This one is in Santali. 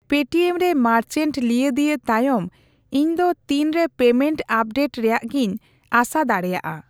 ᱯᱮ ᱴᱤ ᱮᱢ ᱨᱮ ᱢᱟᱨᱪᱮᱱᱴ ᱞᱤᱭᱟᱹ ᱫᱤᱭᱟᱹ ᱛᱟᱭᱚᱢ ᱤᱧ ᱫᱚ ᱛᱤᱱ ᱨᱮ ᱯᱮᱢᱮᱱᱴ ᱟᱯᱰᱮᱴ ᱨᱮᱭᱟᱜᱜᱤᱧ ᱟᱸᱥᱟ ᱫᱟᱲᱤᱭᱟᱜᱼᱟ ?